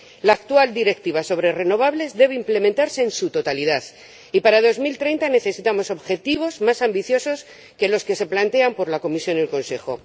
La actual Directiva sobre renovables debe implementarse en su totalidad, y para 2030 necesitamos objetivos más ambiciosos que los que plantean la Comisión y el Consejo.